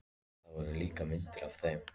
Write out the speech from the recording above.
Það voru líka myndir af þeim.